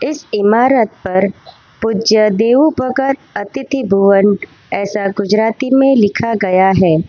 इस इमारत पर पूज्य देव भगत अतिथि भवन ऐसा गुजराती में लिखा गया है।